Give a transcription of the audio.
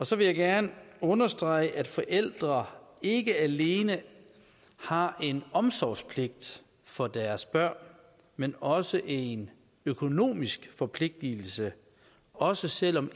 så vil jeg gerne understrege at forældre ikke alene har en omsorgspligt for deres børn men også en økonomisk forpligtelse også selv om